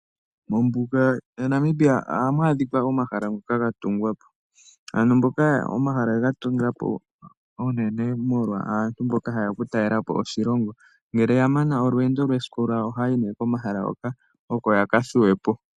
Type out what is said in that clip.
Mombuga yaNamibia ohamu adhika omahala gatungwa po. Ohaga tungwa po unene molwa aantu mboka ha yeya okutalelapo oshilongo ngele yamana olweendo lwawo lwesiku ohaya yi komahala hoka yakathuwe po.